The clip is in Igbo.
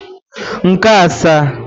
nke asaa